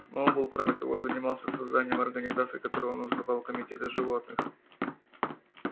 сноуболл кроме того занимался созданием организаций которые он называл комитеты животных